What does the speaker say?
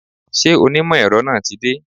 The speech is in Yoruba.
Ṣé onímọ̀ èrọ náà tí dé?